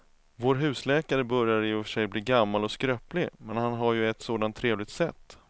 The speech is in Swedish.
Vår husläkare börjar i och för sig bli gammal och skröplig, men han har ju ett sådant trevligt sätt!